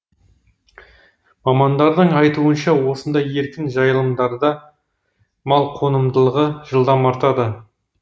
мамандардың айтуынша осындай еркін жайылымдарда мал қонымдылығы жылдам артады